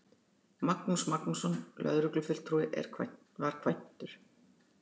Magnús Magnússon lögreglufulltrúi var kvæntur.